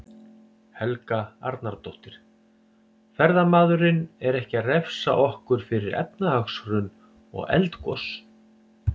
Helga Arnardóttir: Ferðamaðurinn er ekki að refsa okkur fyrir efnahagshrun og eldgos?